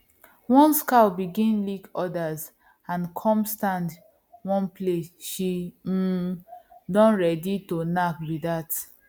once cow begin lick others and come stand one place she um don ready to knack be that